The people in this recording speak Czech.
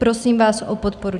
Prosím vás o podporu.